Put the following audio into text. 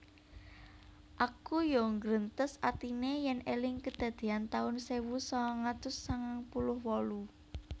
Aku yo nggrentes atine yen eling kedadean taun sewu sangang atus sangang puluh wolu